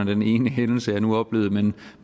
den ene hændelse jeg nu oplevede men